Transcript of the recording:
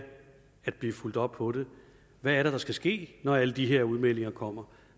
at der bliver fulgt op på det hvad er det der skal ske når alle de her udmeldinger kommer